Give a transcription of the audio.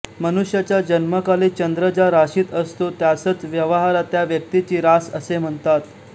मनुष्याच्या जन्मकाली चंद्र ज्या राशीत असतो त्यासच व्यवहारात त्या व्यक्तीची रास असे म्हणतात